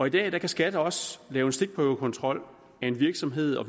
i dag kan skat også lave stikprøvekontrol af en virksomhed og